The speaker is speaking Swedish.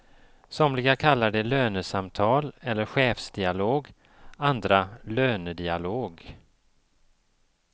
Somliga kallar det lönesamtal eller chefsdialog, andra lönedialog.